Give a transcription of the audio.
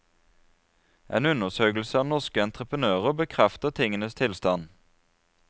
En undersøkelse av norske entreprenører bekrefter tingenes tilstand.